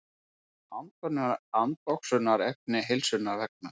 Andoxunarefni heilsunnar vegna.